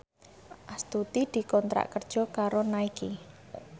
Astuti dikontrak kerja karo Nike